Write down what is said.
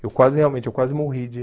Eu quase realmente eu quase morri de